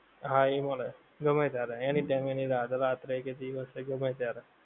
હા એ મળે. ગમે ત્યારે. any time any રાત. રાત્રે કે દિવસે ગમે ત્યારે.